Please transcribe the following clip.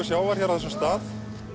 sjávar hér á þessum stað